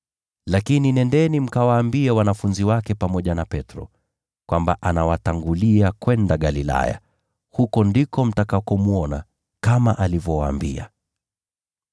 Lakini nendeni mkawaambie wanafunzi wake pamoja na Petro, kwamba, ‘Anawatangulia kwenda Galilaya. Huko ndiko mtamwona, kama alivyowaambia.’ ”